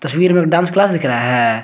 तस्वीर में dance class दिख रहा है।